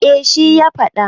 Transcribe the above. eh shi ya faɗa